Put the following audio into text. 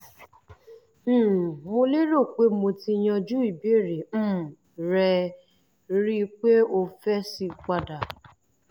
um mo lérò pé mo ti yanjú ìbéèrè um rẹ rí i pé o fèsì padà